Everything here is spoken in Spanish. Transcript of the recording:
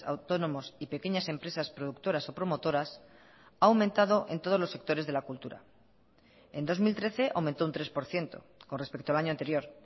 autónomos y pequeñas empresas productoras o promotoras ha aumentado en todos los sectores de la cultura en dos mil trece aumentó un tres por ciento con respecto al año anterior